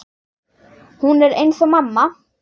Hún er eins og mamma.